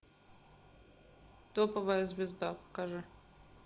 топовая звезда покажи